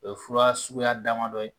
O ye fura suguya damadɔ ye